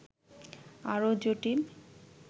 আরও জটিল